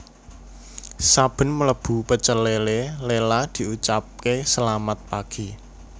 Saben mlebu Pecel Lele Lela diucapke selamat pagi